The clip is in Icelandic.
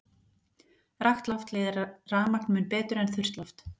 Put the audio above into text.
Rakt loft leiðir rafmagn mun betur en þurrt loft.